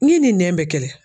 N'i ni nɛn bɛ kɛlɛ.